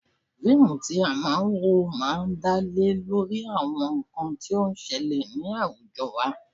Fíìmù tí a máa ń wò máa ń dá lé lórí àwọn nǹkan tí ó ń ṣẹlẹ̀ ni awujọ wa.